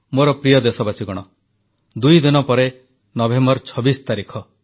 ମୋର ପ୍ରିୟ ଦେଶବାସୀଗଣ ଦୁଇଦିନ ପରେ ନଭେମ୍ବର 26 ତାରିଖ